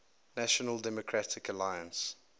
national democratic alliance